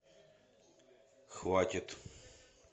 хватит